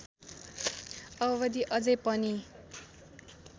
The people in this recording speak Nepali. अवधि अझै पनि